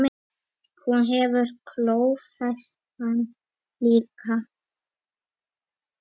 Hún hefur klófest hann líka.